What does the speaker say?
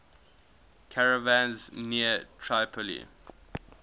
caravans near tripoli